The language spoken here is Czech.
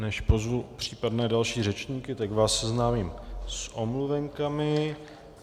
Než pozvu případné další řečníky, tak vás seznámím s omluvenkami.